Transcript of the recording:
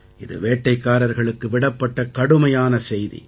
இது வேட்டைக்காரர்களுக்கு விடப்பட்ட கடுமையான செய்தி